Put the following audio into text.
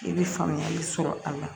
I bɛ faamuyali sɔrɔ a la